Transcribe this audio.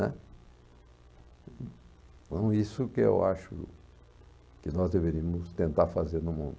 Então, isso que eu acho que nós deveríamos tentar fazer no mundo.